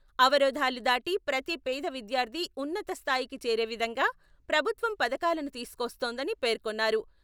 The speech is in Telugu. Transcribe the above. అవరోధాలు దాటి ప్రతి పేద విద్యార్థి ఉన్నత స్థాయికి చేరే విధంగా ప్రభుత్వం పథకాలను తీసుకొస్తోందని పేర్కొన్నారు.